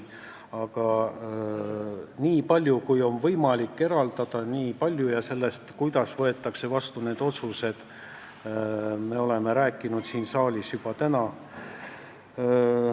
Aga sellest, kui palju on võimalik eraldada, ja sellest, kuidas võetakse vastu need otsused, me oleme täna siin saalis juba rääkinud.